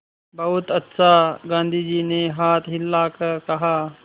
बहुत अच्छा गाँधी जी ने हाथ हिलाकर कहा